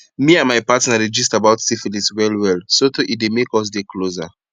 me and my partner dey gist about syphilis well well sotey e dey make us dey closer